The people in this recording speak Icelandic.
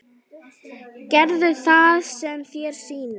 Gerðu það sem þér sýnist.